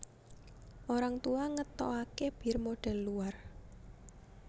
Orang Tua ngetoake bir modhel luar